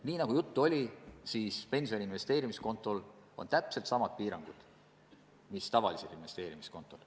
Nii nagu juttu oli, pensioni investeerimiskontol on täpselt samad piirangud mis tavalisel investeerimiskontol.